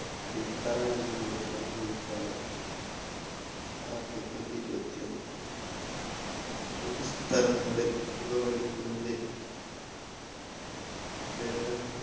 അടിത്തറ എന്നറിയപ്പെടുന്ന വകുപ്പാണ് article ഇരുപത്തിയൊന്ന്. പൊതുസ്ഥലങ്ങളില്‍ പുകവലിക്കുന്നത് ഏറെ